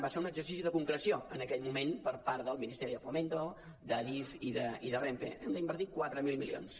va ser un exercici de concreció en aquell moment per part de ministerio de fomento d’adif i de renfe hem d’invertir quatre mil milions